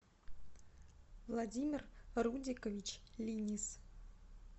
владимир рудикович линис